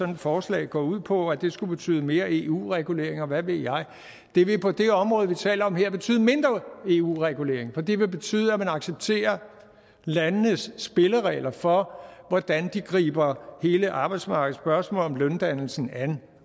her forslag går ud på altså at det skulle betyde mere eu regulering og hvad ved jeg det vil på det område vi taler om her betyde mindre eu regulering for det vil betyde at man accepterer landenes spilleregler for hvordan de griber hele arbejdsmarkedsspørgsmålet om løndannelsen an